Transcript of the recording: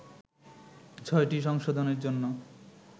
ছয়টি সংশোধনের জন্য